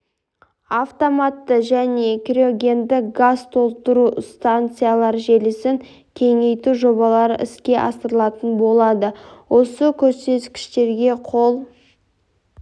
автоматты және криогенді газ толтыру станциялар желісін кеңейту жобалары іске асырылатын болады осы көрсеткіштерге қол